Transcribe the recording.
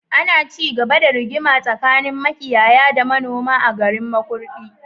Ana cigaba da rigima tsakanin makiyaya da manoma a garin makurdi